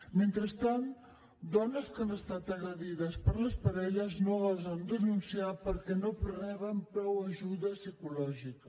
mentrestant dones que han estat agredides per les parelles no gosen denunciar perquè no reben prou ajuda psicològica